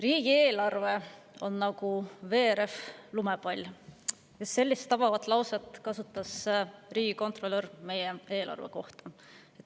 Riigieelarve on nagu veerev lumepall – sellist tabavat väljendit kasutas riigikontrolör meie eelarve kohta.